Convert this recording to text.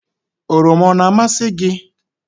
oroma o na-amasị gị?